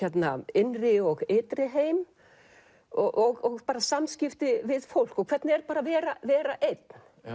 innri og ytri heim og samskipti við fólk og hvernig er að vera vera einn